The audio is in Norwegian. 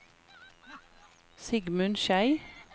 Sigmund Schei